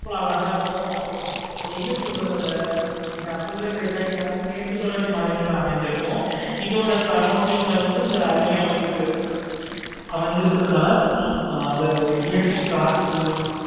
அழகா இருக்கும். அது என்ன சொல்றது இது எல்லாமே மேற்கு தொடர்ச்சி மழையில அமைந்து இருக்கும். இதோட surrounding ல வந்து இதோட அருவியும் அம்மாஞ்சி இருக்கும். அம்மாஞ்சி இருக்கனால அந்த ஒரு இயற்கை காத்து